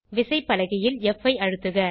விசைப்பலகையில் ப் ஐ அழுத்துக